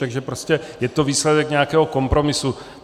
Takže prostě je to výsledek nějakého kompromisu.